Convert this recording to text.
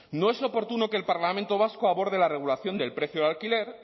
no es oportuno que el parlamento vasco aborde la regulación del precio de alquiler